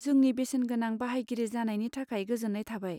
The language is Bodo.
जोंनि बेसेनगोना बाहायगिरि जानायनि थाखाय गोजोन्नाय थाबाय।